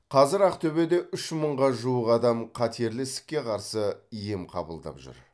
қазір ақтөбеде үш мыңға жуық адам қатерлі ісікке қарсы ем қабылдап жүр